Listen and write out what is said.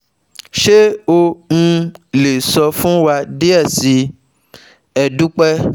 Ṣe o um le sọ fun wa diẹ sii? e dupe